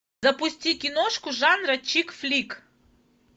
запусти киношку жанра чик флик